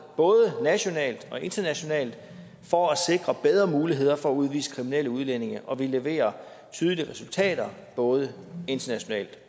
både nationalt og internationalt for at sikre bedre muligheder for at udvise kriminelle udlændinge og vi leverer tydelige resultater både internationalt